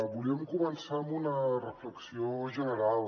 volíem començar amb una reflexió general